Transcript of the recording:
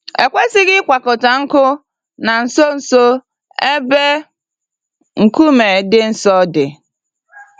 E kwesịghị ịkwakọta nkụ na nso nso ebe nkume dị nsọ dị